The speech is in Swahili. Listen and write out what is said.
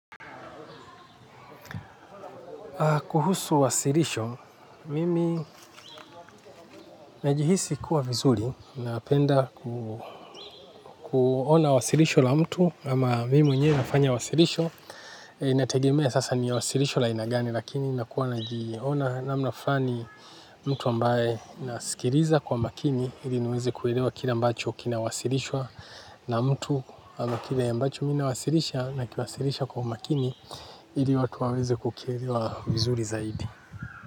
Kuhusu wasilisho, mimi najihisi kuwa vizuri napenda kuona wasilisho la mtu ama mimi mwenyewe nafanya wasilisho. Nategemea sasa ni wasilisho la aina gani lakini nakuwa najiona namna fulani mtu ambaye nasikiliza kwa makini. Ili niweze kuelewa kile ambacho kinawasilishwa na mtu ama kile ambacho mi nawasilisha na kinawasilisha kwa umakini. Ili watu waweze kukielewa vizuri zaidi.